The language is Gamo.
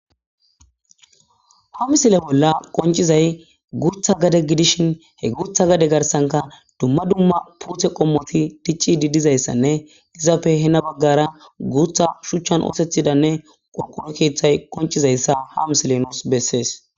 ha misile bolla qoncizay gu utha gade gidishin he guutha gade garsanka dumma dumma puuthe qommoti dicci didizayssanne izappe hena baggara guutha shuchchan oosethidanne qorqono keeththay qoncizayssa ha miselenoos bessees